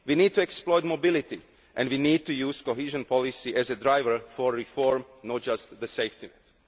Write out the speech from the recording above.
We need to exploit mobility and we need to use cohesion policy as a driver for reform, not just as the safety